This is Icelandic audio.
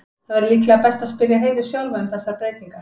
Það væri líklega best að spyrja Heiðu sjálfa um þessar breytingar.